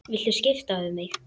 Viltu skipta við mig?